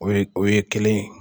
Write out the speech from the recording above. O ye, o ye kelen ye.